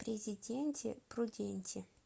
президенти пруденти